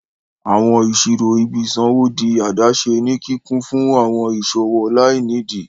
Awọn iṣiro ìbí isanwo dì adaṣe ní kíkún fún awọn iṣowo lainidi.